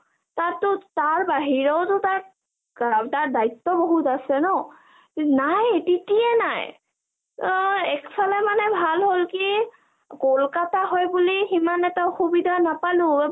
তাত টো তাৰ বাহিৰেও টো তাৰ দায়িত্ব বহুত আছে ন .. নাই টিতিয়ে নাই, অ একফালে ভাল হল কি কলকতা হয় বুলি সিমান এটা অসুবিধা নাপালো অ ,